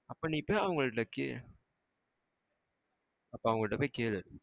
அப்போ நீ போய் அவங்க கிட்ட கேளு. அப்போ அவங்க கிட்ட போய் கேளு.